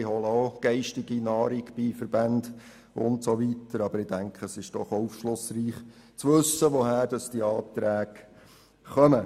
Andere holen auch geistige Nahrung bei Verbänden usw. Aber ich denke, es ist doch auch aufschlussreich, zu wissen, woher diese Anträge stammen.